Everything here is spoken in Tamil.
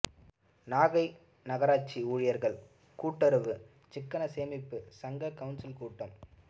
நாகை நகராட்சி ஊழியர்கள் கூட்டுறவு சிக்கன சேமிப்பு சங்க கவுன்சில் கூட்டம்